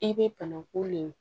I bɛ banaku le